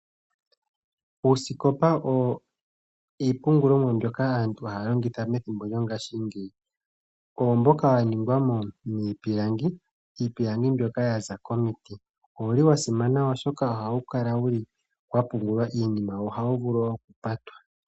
Uusikopa owo iipungulomwa mbyoka aantu haa longitha methimbo lyongashingeyi. Owo mboka wa ningwa miipilangi, iipilangi mbyoka ya za komiti. Owu li wa simana oshoka ohawu kala wu li wa pungulwa iinima, wo ohawu vulu wo okupata.